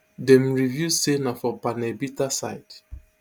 dem reveal say na for panel beater side